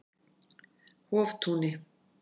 Hoftúni